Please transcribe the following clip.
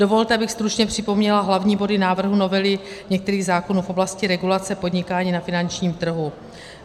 Dovolte, abych stručně připomněla hlavní body návrhu novely některých zákonů v oblasti regulace podnikání na finančních trhu.